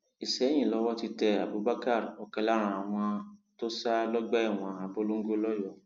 ìsẹyìn lowó ti tẹ abubakar ọkan lára àwọn tó sá lọgbà ẹwọn abolongo lọyọọ